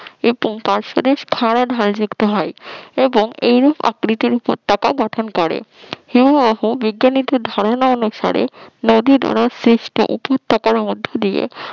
এবং পার্শদেশ খাড়া ঢাল যুক্ত হয় এবং এইরূপ আকৃতির উপত্যকা গঠন করে হিমবাহ বিজ্ঞনীদের ধারণা অনুসারে নদী দ্বারা সৃষ্ট উপত্যকার মধ্য দিয়ে